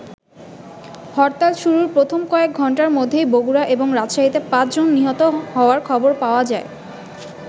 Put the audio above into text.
হরতাল শুরুর প্রথম কয়েক ঘন্টার মধ্যেই বগুড়া এবং রাজশাহীতে পাঁচ জন নিহত হওয়ার খবর পাওয়া যায়।